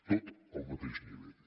tot al mateix nivell